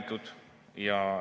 Aeg!